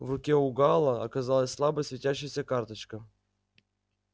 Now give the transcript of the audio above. в руке у гаала оказалась слабо светящаяся карточка